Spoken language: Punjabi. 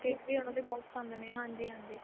cake ਵੀ ਉਹਨਾ ਦੇ ਬਹੁਤ ਪਸੰਦ ਨੇ ਹਾਂਜੀ ਹਾਂਜੀ